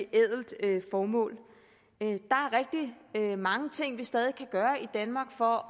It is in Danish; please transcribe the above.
ædelt formål der er mange ting vi stadig kan gøre i danmark for